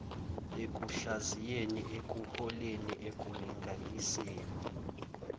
ekuhlaziyeni ekuhloleni ekulinganiseni